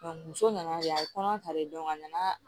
muso nana yen a ye kɔnɔ ta de a nana